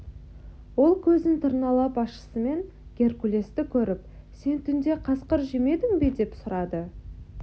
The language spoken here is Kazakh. ол көзін тырналап ашысымен геркулесті көріп сен түнде қасқыр жемедің бе деп сұрады